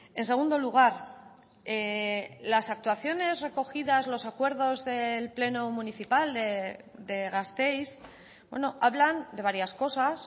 en segundo lugar las actuaciones recogidas los acuerdos del pleno municipal de gasteiz hablan de varias cosas